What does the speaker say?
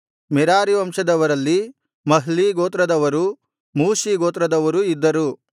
Merari ವಂಶದವರಲ್ಲಿ Mahli ಗೋತ್ರದವರೂ Mushi ಗೋತ್ರದವರೂ ಇದ್ದರು